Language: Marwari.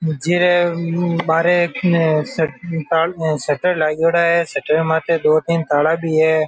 जीरे बारे सट ता सटर लागेङो है सटर माते दो तीन ताला भी है।